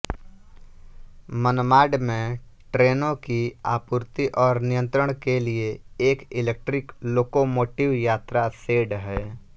मनमाड में ट्रेनों की आपूर्ति और नियंत्रण के लिए एक इलेक्ट्रिक लोकोमोटिव यात्रा शेड है